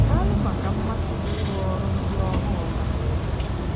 Daalụ maka mmasị gị n’ịrụ ọrụ ndị ọrụ ọhụụ na anyị.